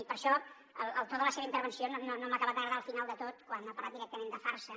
i per això el to de la seva intervenció no m’ha acabat d’agradar al final de tot quan ha parlat directament de farsa